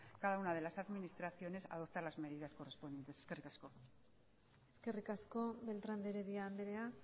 cada una de las administraciones adopta las medidas correspondientes eskerrik asko eskerrik asko beltrán de heredia andrea